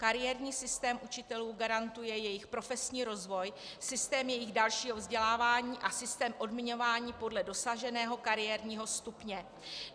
Kariérní systém učitelů garantuje jejich profesní rozvoj, systém jejich dalšího vzdělávání a systém odměňování podle dosaženého kariérního stupně.